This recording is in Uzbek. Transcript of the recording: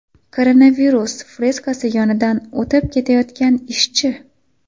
Koronavirus freskasi yonidan o‘tib ketayotgan ishchi.